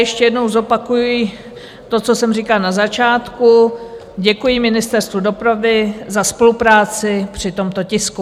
Ještě jednou zopakuji to, co jsem říkala na začátku, děkuji Ministerstvu dopravy za spolupráci při tomto tisku.